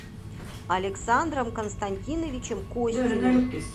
александром константиновичем костиным